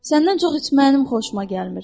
Səndən çox içməyim xoşuma gəlmir.